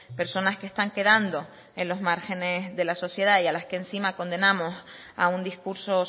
personas que están quedando en los márgenes de la sociedad y a las que encima condenamos a un discurso